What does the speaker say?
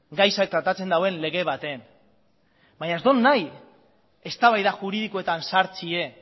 gaia tratatzen duen lege baten baina ez dut nahi eztabaida juridikoetan sartzea